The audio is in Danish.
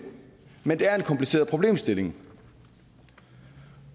men det er en kompliceret problemstilling